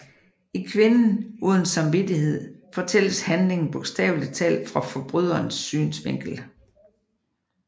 I Kvinden uden samvittighed fortælles handlingen bogstaveligt talt fra forbryderens synsvinkel